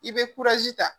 I bɛ ta